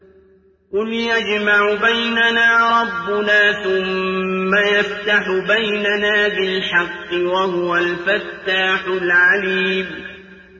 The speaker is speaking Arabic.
قُلْ يَجْمَعُ بَيْنَنَا رَبُّنَا ثُمَّ يَفْتَحُ بَيْنَنَا بِالْحَقِّ وَهُوَ الْفَتَّاحُ الْعَلِيمُ